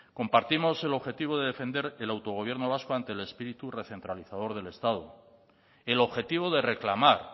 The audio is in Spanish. compartimos el objetivo de defender el autogobierno vasco ante el espíritu recentralizado del estado el objetivo de reclamar